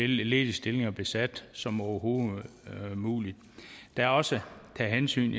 ledige stillinger besat som overhovedet muligt der er også hensyn